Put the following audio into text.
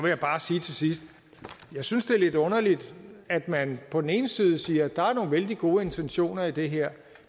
jeg bare sige til sidst at jeg synes det er lidt underligt at man på den ene side siger at der er nogle vældig gode intentioner i det her